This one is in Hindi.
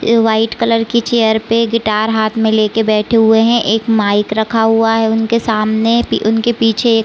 ए वाइट कलर की चेयर पे गिटार हाथ में लेके बैठे हुए है। एक माइक रखा हुआ है उनके सामने पी उनके पीछे एक--